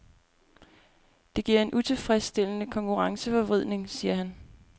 Det giver en utilfredsstillende konkurrenceforvridning, siger han.